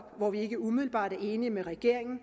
hvor vi ikke umiddelbart er enige med regeringen